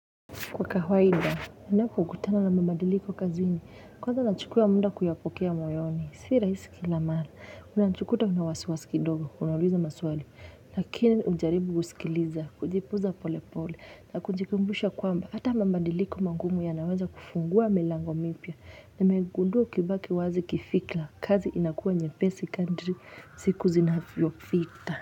Kwa kawaida, nnapokutana na mamadiliko kazini, kwanza nachukua muda kuyapokea moyoni, si raisi kila mala, unajikuta una wasiwasi kidogo, unauliza maswali, lakini hujaribu kusikiliza, kujifunza pole pole, na kujikumbusha kwamba, hata mabadiliko magumu yanaweza kufungua milango mipya, na nmegundua ukibaki wazi kifikra, kazi inakuwa nyepesi kadri, siku zinavyopita.